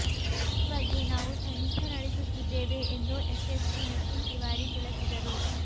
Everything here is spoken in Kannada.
ಈ ಬಗ್ಗೆ ನಾವು ತನಿಖೆ ನಡೆಸುತ್ತಿದ್ದೇವೆ ಎಂದು ಎಸ್ಎಸ್ಪಿ ನಿತಿನ್ ತಿವಾರಿ ತಿಳಸಿದರು